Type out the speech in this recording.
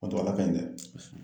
ala ka ɲi dɛ!